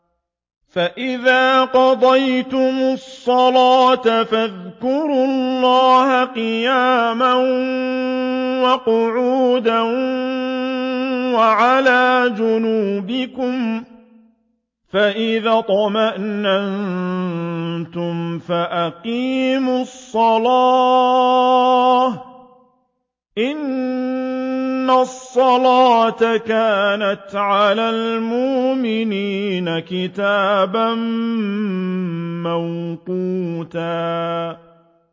فَإِذَا قَضَيْتُمُ الصَّلَاةَ فَاذْكُرُوا اللَّهَ قِيَامًا وَقُعُودًا وَعَلَىٰ جُنُوبِكُمْ ۚ فَإِذَا اطْمَأْنَنتُمْ فَأَقِيمُوا الصَّلَاةَ ۚ إِنَّ الصَّلَاةَ كَانَتْ عَلَى الْمُؤْمِنِينَ كِتَابًا مَّوْقُوتًا